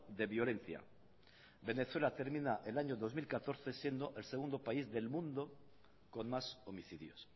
de violencia venezuela termina el año dos mil catorce siendo el segundo país del mundo con más homicidios